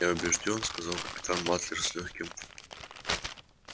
я убеждён сказал капитан батлер с лёгким